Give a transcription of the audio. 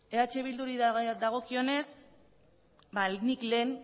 eh bilduri dagokionez nik lehen